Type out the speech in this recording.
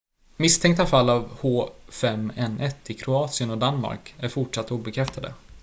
misstänkta fall av h5n1 i kroatien och danmark är fortsatt obekräftade